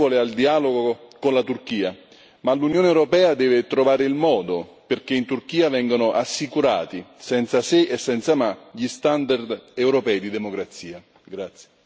Io ovviamente sono favorevole al dialogo con la Turchia, ma l'Unione europea deve trovare il modo di garantire che in Turchia vengano assicurati, senza se e senza ma, gli standard europei di democrazia.